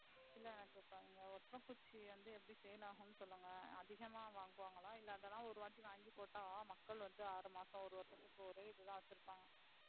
இல்ல எனக்கு இங்க ஓட்டற குச்சி வந்து எப்படி sale ஆகும்னு சொல்லுங்க அதிகமா வாங்குவாங்களா இல்ல அது எல்லாம் ஒரு வாட்டி வாங்கிப்போட்டு மக்கள் வந்து ஆறு மாசம் ஒரு வருசத்துக்கு ஒரே இத தான் வச்சிருப்பாங்க.